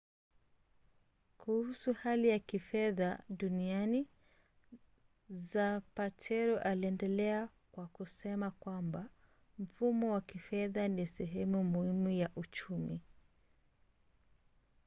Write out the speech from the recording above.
kuhusu hali ya kifedha duniani zapatero aliendelea kwa kusema kwamba mfumo wa kifedha ni sehemu muhimu ya uchumi